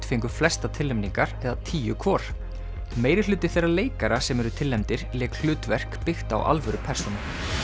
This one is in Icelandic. fengu flestar tilnefningar eða tíu hvor þeirra leikara sem eru tilnefndir lék hlutverk byggt á alvöru persónu